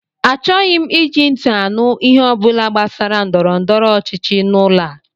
Achọghị m iji ntị anụ ihe ọ bụla gbasara ndọrọndọrọ ọchịchị n'ụlọ a!